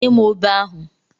Nye m obe ahụ!